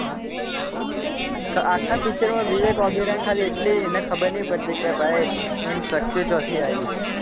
આખા picture માં વિવેક ઓબેરોય ને ખાલી એટલી એને ખબર નહીં પડતી કે ભાઈ એની શક્તિઓ ચોથી આયી છે.